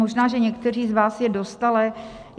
Možná že někteří z vás je dostali.